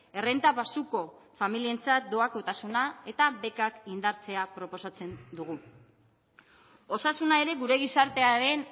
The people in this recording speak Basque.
errenta baxuko familientzat doakotasuna eta bekak indartzea proposatzen dugu osasuna ere gure gizartearen